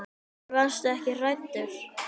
En varstu ekki hræddur?